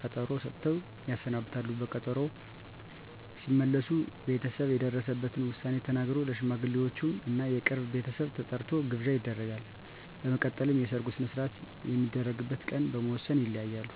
ቀጠሮ ሰጥተው ያሰናብታሉ። በጊዜ ቀጠሮው ሲመለሱ ቤተሰብ የደረሰበትን ዉሳኔ ተናግሮ፣ ለሽማግሌወቹም እና የቅርብ ቤተሰብ ተጠርቶ ግብዣ ይደረጋል። በመቀጠልም የሰርጉ ሰነሰርአት የሚደረግበት ቀን በመወስን ይለያያሉ።